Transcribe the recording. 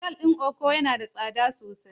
Otal din Eko yana da tsada sosai.